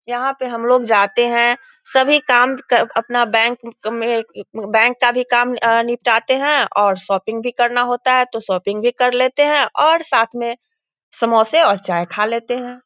यहाँ पे हम लोग जाते हैं सभी काम अपना बैंक में बैंक का भी काम निपटाते हैं और शॉपिंग भी करना होता है तो शॉपिंग भी कर लेते हैं और साथ में समोसे और चाय खा लेते हैं।